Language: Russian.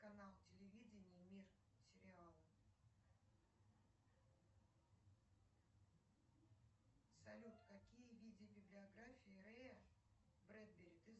канал телевидения мир сериалы салют какие виды библиографии рэя брэдбери ты знаешь